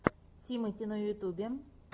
тимати на ютюбе